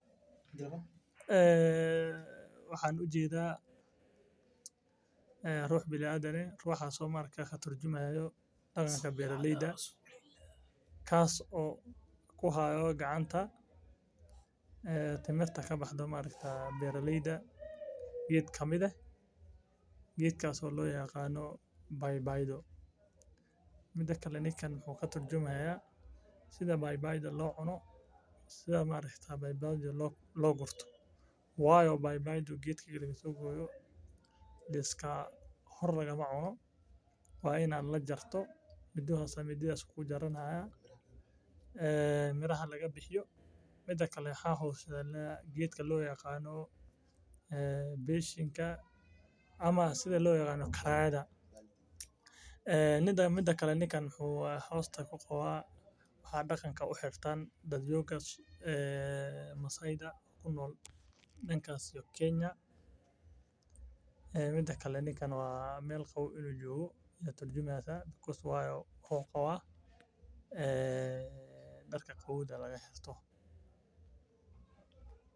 Waxaan ujeeda ruux biniadam ah oo ka turjamayo daqanka beeraleyda oo gacanta kuhaayo miraha timirta oo laga yaabo inuu natusaayo sida baybayda loo cuno loona gooyo waayo hore lagama cuno waa in miraha kaga bixiyo waxaa hoos yaala beshin wuxuu hoos ku qabaa waxaa xirtaan dadka masaayda wuxuu qabaa darka qabowga laga xirto.